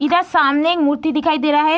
इधर सामने मूर्ति दिखाई दे रहा है।